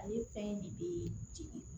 Ale fɛn in de bɛ jigin